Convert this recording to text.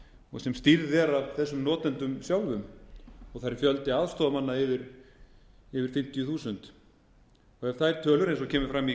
aðstoðar sem stýrð er af þessum notendum sjálfum og þar er fjöldi aðstoðarmanna yfir fimmtíu þúsund það eru tvær tölur eins og kemur fram í